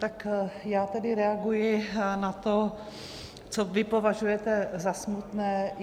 Tak já tedy reaguji na to, co vy považujete za smutné.